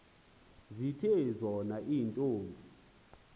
zithe zona iintombi